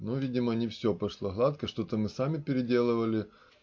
но видимо не все пошло гладко что-то мы сами переделывали